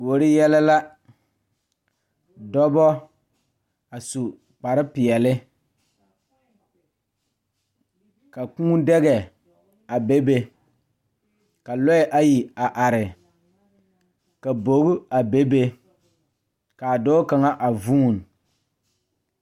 Kuori yɛlɛ la dɔba a su kparepeɛle ka Kūū daga a bebe ka lɔɛ ayi a are ka bogi a bebe ka dɔɔ kaŋ a vuuni.